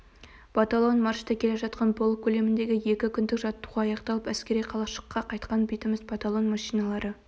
батальон маршта келе жатқан полк көлеміндегі екі күндік жаттығу аяқталып әскери қалашыққа қайтқан бетіміз батальон машиналары